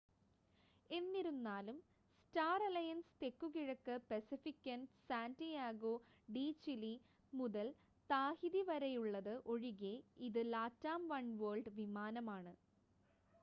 എന്നിരുന്നാലും Star Alliance തെക്കുകിഴക്ക് പസഫിക്കിൽ സാൻ്റിയാഗോ ഡീ ചിലി മുതൽ താഹിതിവരെയുള്ളത് ഒഴികെ ഇത് ലാറ്റാം വൺവേൾഡ് വിമാനമാണ്